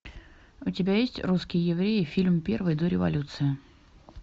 у тебя есть русские евреи фильм первый до революции